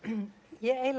ég